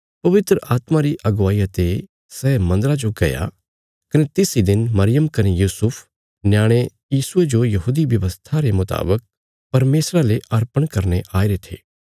पवित्र आत्मा री अगुवाईया ते सै मन्दरा जो गया कने तिस इ दिन मरियम कने यूसुफ न्याणे यीशुये जो यहूदी व्यवस्था रे मुतावक परमेशरा ले अर्पण करने आईरे थे